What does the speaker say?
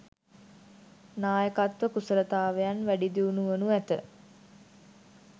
නායකත්ව කුසලතාවයන් වැඩි දියුණු වනු ඇත